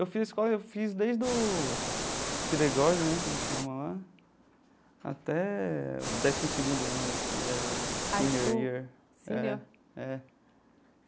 Eu fiz a escola, eu fiz desde o kindergarten né, que eles chamam lá, até o décimo segundo ano, que é o senior year. Senior. É é.